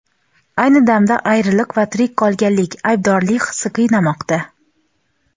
ayni damda ayriliq va tirik qolganlik aybdorlik hissi qiynamoqda.